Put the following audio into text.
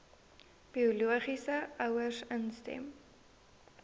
biologiese ouers instem